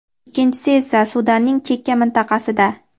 ikkinchisi esa Sudanning chekka mintaqasida.